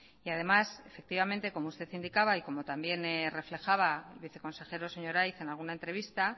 y además efectivamente como usted indicaba y como también reflejaba el viceconsejero señor aiz en alguna entrevista